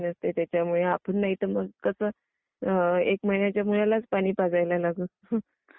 त्याच्यामुळे , आपण नाही तर मग कस!! एक महिन्याच्या मुलालाच पाणी पाजायला लागू.